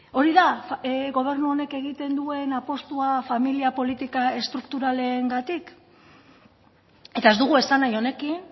hori da gobernu honek egiten duen apustua familia politika estrukturalengatik eta ez dugu esan nahi honekin